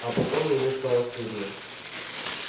а потом ему стало стыдно